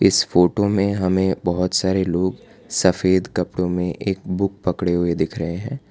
इस फोटो में हमें बहोत सारे लोग सफेद कपड़ो में एक बुक पकड़े हुए दिख रहे हैं।